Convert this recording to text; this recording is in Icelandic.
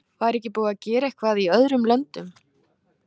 Væri ekki búið að gera eitthvað í öðrum löndum?